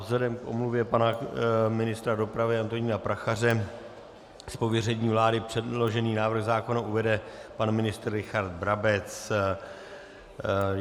Vzhledem k omluvě pana ministra dopravy Antonína Prachaře z pověření vlády předložený návrh zákona uvede pan ministr Richard Brabec.